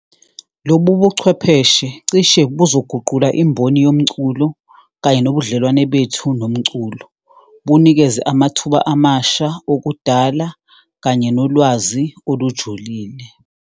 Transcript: Lobu buchwepheshe cishe buzoguquka imboni yomculo kanye nobudlelwane bethu nomculo, bunikeze amathuba amasha okudala kanye nolwazi olujulile.